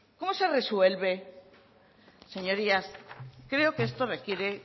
cómo se resuelve señorías creo que esto requiere